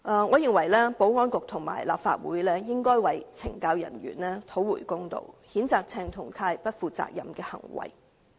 我認為保安局和立法會應為懲教人員討回公道，譴責鄭松泰議員不負責任的行為。